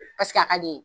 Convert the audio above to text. Paseke a ka di ye